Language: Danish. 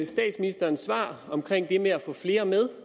statsministerens svar om det med at få flere med